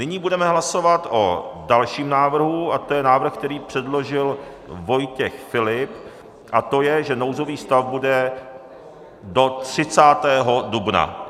Nyní budeme hlasovat o dalším návrhu, a to je návrh, který předložil Vojtěch Filip, a to je, že nouzový stav bude do 30. dubna.